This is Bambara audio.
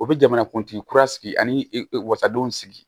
U bɛ jamanakuntigi kura sigi ani wasadon sigi